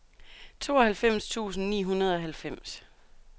tooghalvfems tusind ni hundrede og halvfems